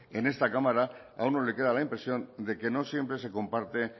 en esta cámara a uno le queda la impresión de que no siempre se comparte